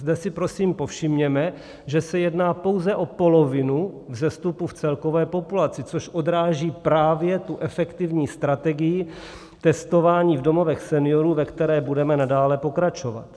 Zde si prosím povšimněme, že se jedná pouze o polovinu vzestupu v celkové populaci, což odráží právě tu efektivní strategii testování v domovech seniorů, ve které budeme nadále pokračovat.